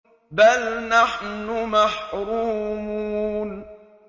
بَلْ نَحْنُ مَحْرُومُونَ